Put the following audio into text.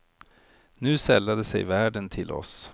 Nu sällade sig värden till oss.